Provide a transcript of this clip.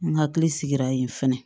N hakili sigira yen fɛnɛ